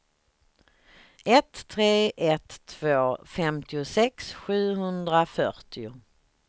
ett tre ett två femtiosex sjuhundrafyrtio